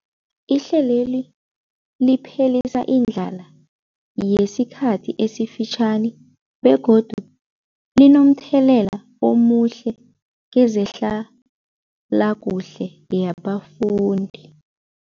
Ihlelweli liphelisa indlala yesikhathi esifitjhani begodu linomthelela omuhle kezehlalakuhle yabafundi.